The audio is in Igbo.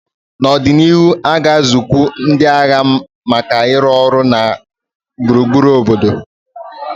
N'ọdịnihu, a ga-azụkwu ndị agha maka ịrụ ọrụ na gburugburu obodo.